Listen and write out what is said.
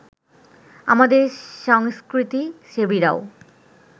আমাদের সংস্কৃতিসেবীরাও